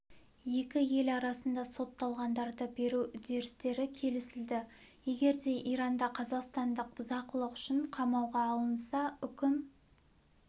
екі ел арасында сотталғандарды беру үдерістері келісілді егер де иранда қазақстандық бұзақылық үшін қамауға алынса үкім